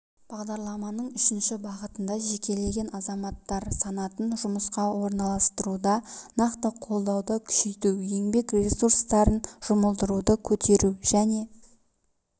бағдарламаның үшінші бағытында жекелеген азаматтар санатын жұмысқа орналастыруда нақты қолдауды күшейту еңбек ресурстарын жұмылдыруды көтеру және